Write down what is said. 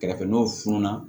Kɛrɛfɛ n'o funununa